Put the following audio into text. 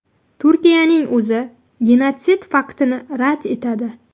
Turkiyaning o‘zi genotsid faktini rad etadi.